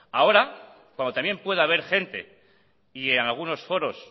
ahora cuando también puede haber gente y en algunos foros